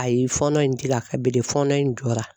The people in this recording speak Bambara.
Ayi fɔlɔ in a kan bi de fɔɔnɔ in jɔra.